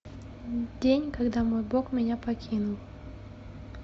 день когда мой бог меня покинул